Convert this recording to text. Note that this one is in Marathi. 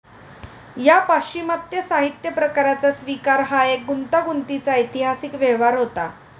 ह्या पाश्चिमात्य साहित्यप्रकाराचा स्विकार हा एक गुंतागुंतीचा ऐतिहासिक व्यवहार होता.